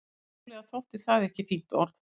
Upphaflega þótti það ekki fínt orð.